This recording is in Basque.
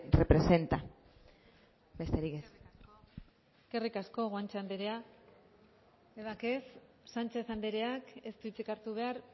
representa besterik ez eskerrik asko guanche anderea sánchez andereak ez dut hitzik hartu behar